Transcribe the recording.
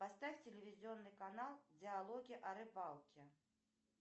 поставь телевизионный канал диалоги о рыбалке